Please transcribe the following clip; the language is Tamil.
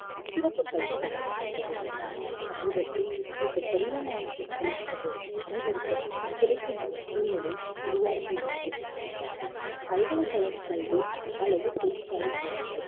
சிறப்பு கல்வி வழங்கப்பட்டது ஆனால் சமீபத்தில் இந்த கடினமான கற்றல் அனுபவம் அனைவருக்கும் கிடைக்குமாறு சூழ்நிலை உருவாக்கியுள்ளது பல்கலைக்கழகக் கல்வி அல்லது தொழிற்சாலைக் கல்விகள்